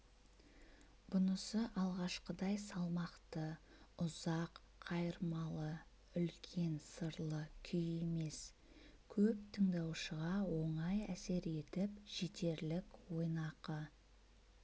бұнысы алғашқыдай салмақты ұзақ қайырмалы үлкен сырлы күй емес көп тындаушыға оңай әсер етіп жетерлік ойнақы